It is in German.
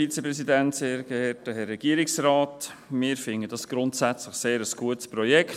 Grundsätzlich finden wir das grundsätzlich ein sehr gutes Projekt.